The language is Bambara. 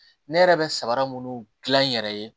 Ne yɛrɛ bɛ sabara munnu gilan n yɛrɛ ye